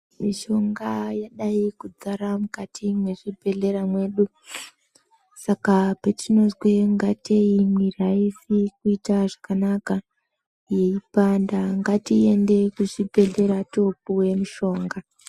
Mishonga yadai kuzara mukati mwezvibhehlera mwedu saka petinozwa ngatei mwiri aizi kuita zvakanaka yeipanda ngatiende kuzvibhehlera topuwe mushonga